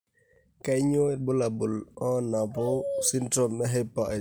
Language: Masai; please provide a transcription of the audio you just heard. Kainyio irbulabul onaapuku esindirom eHyper IgD?